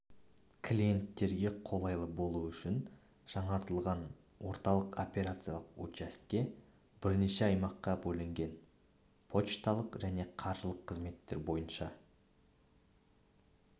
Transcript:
клиенттерге қолайлы болу үшін жаңартылған орталық операциялық учаске бірнеше аймаққа бөлінген почталық және қаржылық қызметтер бойынша